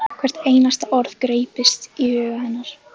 Hvert einasta orð greyptist í huga hennar.